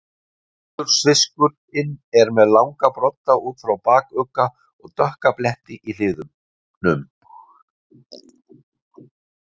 Pétursfiskurinn er með langa brodda út frá bakugga og dökka bletti í hliðunum.